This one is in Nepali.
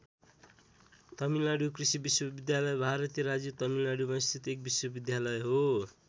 तमिलनाडु कृषि विश्वविद्यालय भारतीय राज्य तमिलनाडुमा स्थित एउटा विश्वविद्यालय हो।